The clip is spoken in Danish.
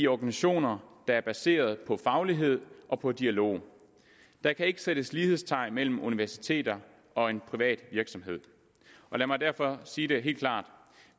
organisationer der er baseret på faglighed og på dialog der kan ikke sættes lighedstegn mellem universiteter og en privat virksomhed lad mig derfor sige det helt klart